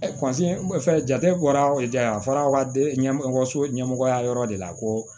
jate bɔra a fɔra aw ka ɲɛkɔso ɲɛmɔgɔya yɔrɔ de la ko